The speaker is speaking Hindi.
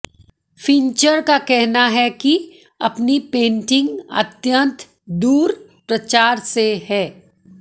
फिन्चर का कहना है कि अपनी पेंटिंग अत्यंत दूर प्रचार से है